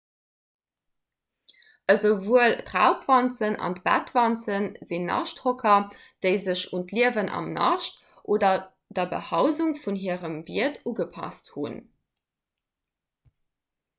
esouwuel d'raubwanzen an d'bettwanze sinn naschthocker déi sech un d'liewen am nascht oder der behausung vun hirem wiert ugepasst hunn